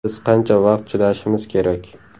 Biz qancha vaqt chidashimiz kerak?